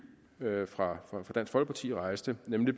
fra dansk folkeparti rejste nemlig